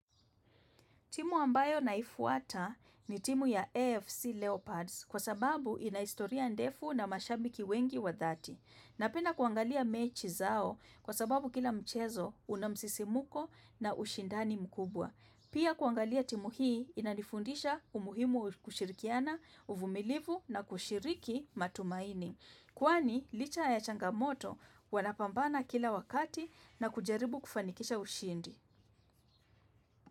Timu ambayo naifuata ni timu ya AFC Leopards kwa sababu inahistoria ndefu na mashambiki wengi wa dhati. Napenda kuangalia mechi zao kwa sababu kila mchezo unamsisimuko na ushindani mkubwa. Pia kuangalia timu hii inanifundisha umuhimu kushirikiana, uvumilivu na kushiriki matumaini. Kwani licha ya changamoto wanapambana kila wakati na kujaribu kufanikisha ushindi.